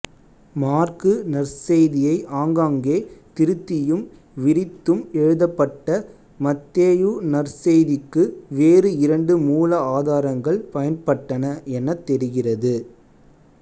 மாற்கு நற்செய்தியை ஆங்காங்கே திருத்தியும் விரித்தும் எழுதப்பட்ட மத்தேயு நற்செய்திக்கு வேறு இரண்டு மூல ஆதாரங்கள் பயன்பட்டன எனத் தெரிகிறது